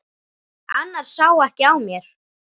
Annars sá ekki á mér.